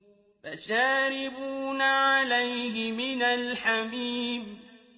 فَشَارِبُونَ عَلَيْهِ مِنَ الْحَمِيمِ